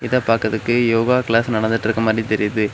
இத பாக்குறதுக்கு யோகா கிளாஸ் நடந்துட்ருக்க மாதிரி தெரியுது.